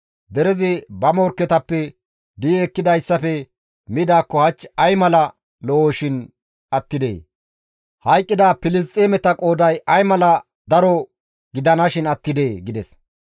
Derezi ba morkketappe di7i ekkidayssafe midaakko hach ay mala lo7oshin attidee! Hayqqida Filisxeemeta qooday ay mala daro gidanashin attidee!» gides.